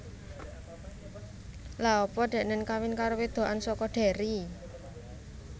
Lha apa deknen kawin karo wedokan soko Derry?